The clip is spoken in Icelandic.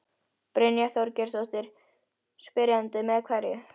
Brynja Þorgeirsdóttir, spyrjandi: Með hverju?